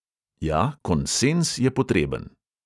Ja, konsenz je potreben.